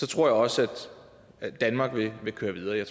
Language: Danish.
tror jeg også at danmark vil køre videre